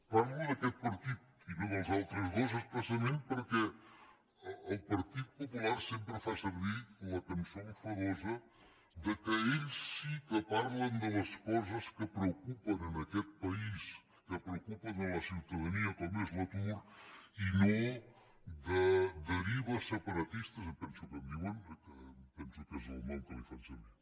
parlo d’aquest partit i no dels altres dos expressament perquè el partit popular sempre fa servir la cançó enfadosa que ells sí que parlen de les coses que preocupen en aquest país que preocupen a la ciutadania com és l’atur i no de derives separatistes em penso que en diuen que em penso que és el nom que fan servir